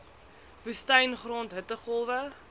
woestyn grond hittegolwe